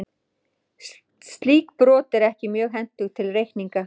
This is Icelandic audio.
Slík brot voru ekki mjög hentug til reikninga.